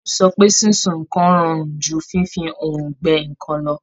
Bola sọ pé sísun nǹkan rọrùn ju fífi oòrùn gbẹ nǹkan lọ.